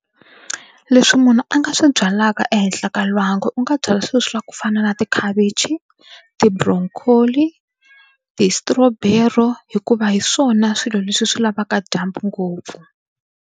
Leswi munhu a nga swi byalaka ehenhla ka lwangu u nga byala swilo swa ku fana na tikhavichi ti-broccoli ti-strawberry hikuva hi swona swilo leswi swi lavaka dyambu ngopfu.